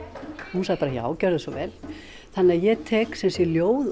hún sagði bara já gjörðu svo vel þannig að ég tek sumsé ljóð